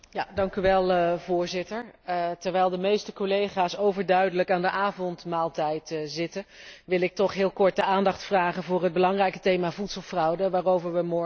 Voorzitter, terwijl de meeste collega's overduidelijk aan de avondmaaltijd zitten, wil ik toch heel kort de aandacht vragen voor het belangrijke thema voedselfraude, waarover we morgen stemmen.